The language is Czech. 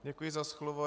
Děkuji za slovo.